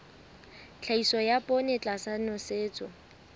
tlhahiso ya poone tlasa nosetso